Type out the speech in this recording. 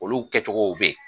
Olu kɛcogow be yen.